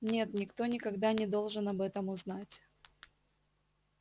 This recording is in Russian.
нет никто никогда не должен об этом узнать